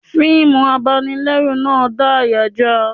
Fiimu abanilẹ́rù náà dá àyà já a